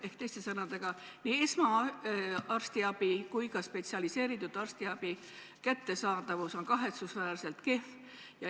Ehk teiste sõnadega, nii esmase arstiabi kui ka spetsialiseeritud arstiabi kättesaadavus on kahetsusväärselt kehv.